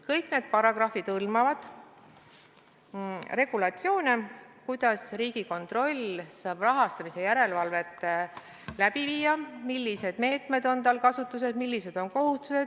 Kõik need paragrahvid hõlmavad regulatsioone, kuidas Riigikontroll saab rahastamise järelevalvet läbi viia, millised meetmed on tal kasutada, millised on kohustused.